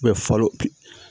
falo